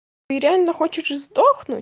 ты реально хочешь сдохнуть